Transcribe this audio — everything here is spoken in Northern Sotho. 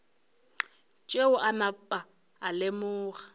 tšeo a napa a lemoga